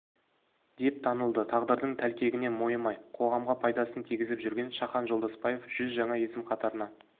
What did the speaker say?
деп танылды тағдырдың тәлкегіне мойымай қоғамға пайдасын тигізіп жүрген шахан жолдасбаев жүз жаңа есім қатарына